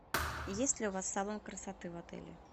есть ли у вас салон красоты в отеле